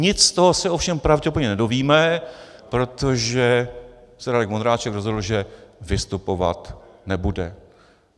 Nic z toho se ovšem pravděpodobně nedovíme, protože se Radek Vondráček rozhodl, že vystupovat nebude.